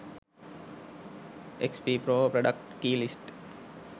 xp pro product key list